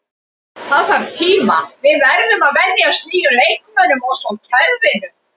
Það þarf tíma, við verðum að venjast nýjum leikmönnum og svo kerfinu.